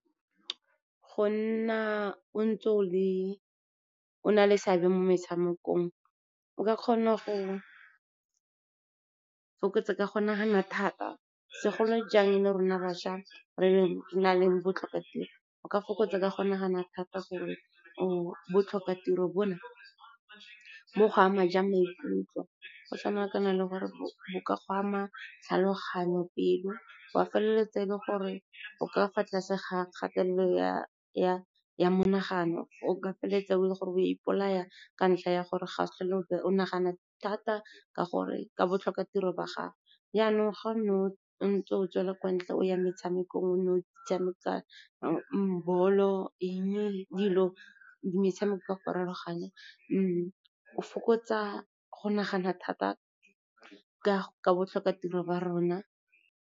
Go nna o ntse o na le seabe mo metshamekong, o ka kgona go fokotsa ka go nagana thata, segolo jang le rona bašwa, re na le botlhokatiro, o ka fokotsa ka go nagana thata gore botlhokatiro bo na bo go ama jwa maikutlo, go tshwanakana le gore bo ka go ama tlhaloganyo, pelo, wa feleletsa e le gore o ka fa tlase ga kgatelelo ya monagano, o ka feleletsa e le gore o ipolaya ka ntlha ya gore o nagana thata ka botlhokatiro ba gago jaanong, ga o ntse o tswela kwa ntle o ya metshamekong, o ne o tshameka bolo, metshameko e farologaneng, o fokotsa go nagana thata ka botlhokatiro wa rona.